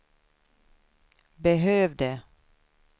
behövde